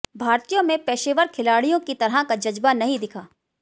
भारतीयों में पेशेवर खिलाडि़यों की तरह का जज्बा नहीं दिखा